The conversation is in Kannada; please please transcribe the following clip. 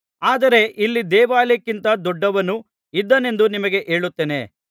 ಆದರೆ ಇಲ್ಲಿ ದೇವಾಲಯಕ್ಕಿಂತ ದೊಡ್ಡವನು ಇದ್ದಾನೆಂದು ನಿಮಗೆ ಹೇಳುತ್ತೇನೆ